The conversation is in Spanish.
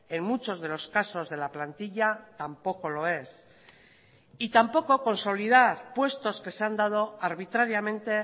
en muchos de los casos de la plantilla tampoco lo es y tampoco consolidar puestos que se han dado arbitrariamente